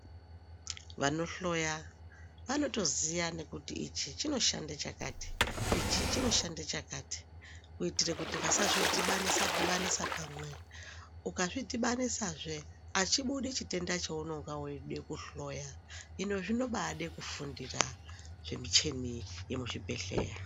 Vanohloya vanotoziya nekuti ichi chinoshanda chakati ,ichi chinoshande chakati kuitira kuti vasazvidibanise dibanise pamweni. Ukazvidibanisa zve hachibudi chitenda chaunonga udakuhloya izvo zvinodabakufundira zvemichini yemuchibhedleya.